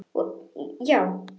Og já.